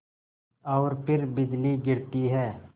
और फिर बिजली गिरती है